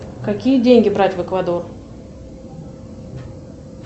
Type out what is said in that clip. какие деньги брать в эквадор